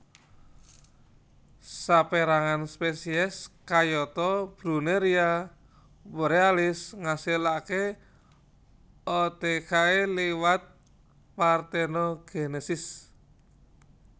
Saperangan spesies kayata Brunneria borealis ngasilake oothecae liwat partenogenesis